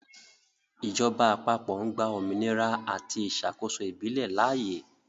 Ìjọba àpapọ̀ ń gba òmìnira àti ìṣàkóso ìbílẹ̀ láàyè.